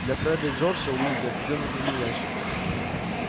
для фреда и джорджа уизли отведён отдельный ящик